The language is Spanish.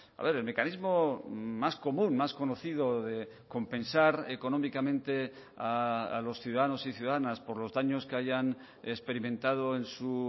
a ver el mecanismo más común más conocido de compensar económicamente a los ciudadanos y ciudadanas por los daños que hayan experimentado en su